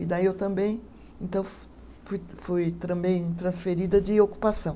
E daí eu também então fu, fui fui também transferida de ocupação.